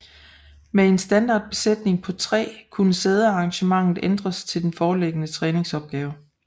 Med en standardbesætning på tre kunne sædearrangementet ændres til den foreliggende træningsopgave